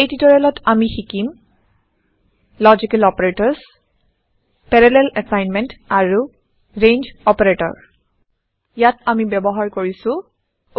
এই টিওটৰিয়েলত আমি শিকিম লজিকেল অপাৰেটৰ্ছ পেৰালেল এছাইনমেণ্ট আৰু ৰেঞ্জ অপাৰেটৰ্ছ ইয়াত আমি ব্যৱহাৰ কৰিছো